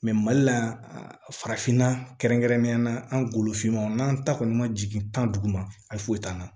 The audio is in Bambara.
mali la farafinna kɛrɛnkɛrɛnnenyala an golo finman n'an ta kɔni ma jigin tan duguma a foyi t'an na